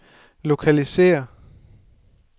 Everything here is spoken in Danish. lokalisér